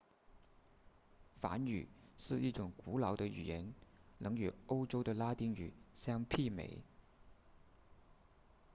梵语是一种古老的语言能与欧洲的拉丁语相媲美